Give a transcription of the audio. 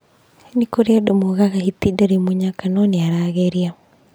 Nĩ kũrĩ andũ moigaga, "Hiti ndarĩ mũnyaka, no nĩ arageria."